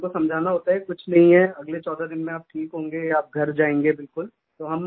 उनको समझाना होता है कुछ नहीं है अगले 14 दिन आप ठीक होंगे आप घर जायेंगे बिलकुल